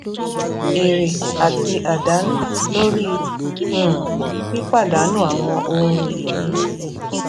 èrè àti àdánù lórí um pípàdànù àwọn ohun ìní